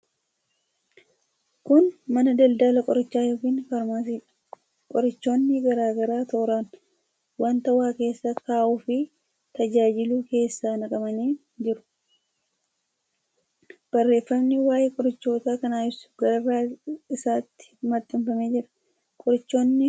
Kun mana daldala qorichaa yookiin 'faarmaasii'dha. Qorichoonni garaa garaa tooraan wanta waa keessa kaa'uuf tajaajilu keessa naqamanii jiru. Barreeffamni waa'ee qorichoota kanaa ibsu gararraa isaatti maxxanfamee jira. Qorichoonni kanneen dhibeewwan akkamiif fayyadu?